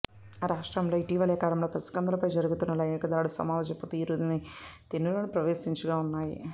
రాష్ట్రంలో ఇటీవలి కాలంలో పసికందుల పై జరుగుతున్న లైంగిక దాడులు సమాజపు తీరు తెన్నులను ప్రశ్నించేవిగా ఉన్నాయి